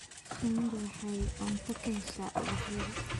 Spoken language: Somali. Shinnidu waxay cunto ka heshaa ubaxyada.